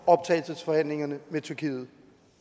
optagelsesforhandlingerne med tyrkiet